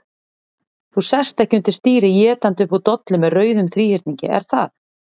Þú sest ekki undir stýri étandi upp úr dollu með rauðum þríhyrningi, er það?